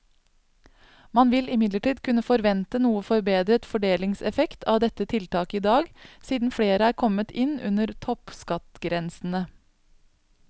Man vil imidlertid kunne forvente noe forbedret fordelingseffekt av dette tiltaket i dag, siden flere er kommet inn under toppskattgrensene.